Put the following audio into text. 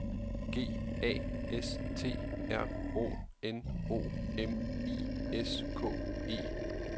G A S T R O N O M I S K E